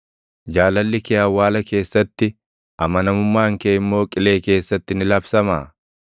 Jaalalli kee awwaala keessatti, amanamummaan kee immoo Qilee keessatti ni labsamaa?